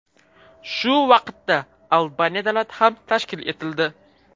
Shu vaqtda Albaniya davlati ham tashkil etildi.